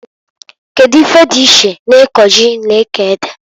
Kedu ife dị iche na iko ji na iko ede?